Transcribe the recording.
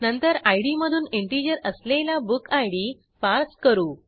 नंतर इद मधून इंटिजर असलेला बुकिड पार्स करू